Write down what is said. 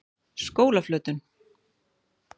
Skólaflötum